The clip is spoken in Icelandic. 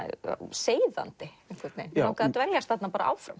seiðandi mig langaði að dveljast þarna áfram